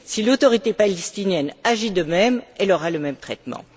si l'Autorité palestinienne agit de même, elle aura le même traitement.